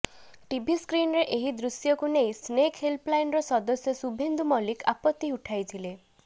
TV ସ୍କ୍ରିନରେ ଏହି ଦୃଶ୍ୟକୁ ନେଇ ସ୍ନେକ ହେଲ୍ପଲାଇନର ସଦସ୍ୟ ଶୁଭେନ୍ଦୁ ମଲ୍ଲିକ ଆପତି ଉଠାଇଥିଲେ